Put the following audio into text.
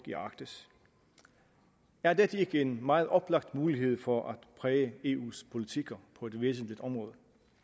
i arktis er dette ikke en meget oplagt mulighed for at præge eus politikker på et væsentligt område